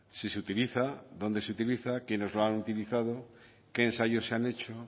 si se utiliza dónde se utiliza quiénes lo han utilizado qué ensayos se han hecho